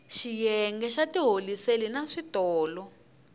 xiyenge xa tiholiseli na switolo